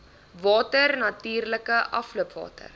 water natuurlike afloopwater